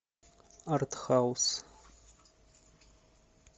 артхаус